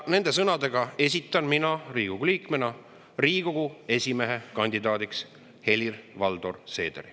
Nende sõnadega esitan mina Riigikogu liikmena Riigikogu esimehe kandidaadiks Helir-Valdor Seederi.